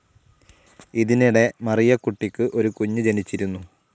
ഇതിനിടെ മറിയകുട്ടിക്കു ഒരു കുഞ്ഞ് ജനിച്ചിരുന്നു.